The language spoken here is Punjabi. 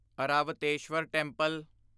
ਐਰਾਵਤੇਸ਼ਵਰ ਟੈਂਪਲ